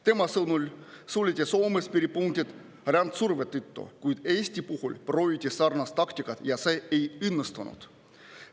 Tema sõnul suleti Soomes piiripunktid rändesurve tõttu, kuid Eesti puhul prooviti sarnast taktikat, aga see ei õnnestunud.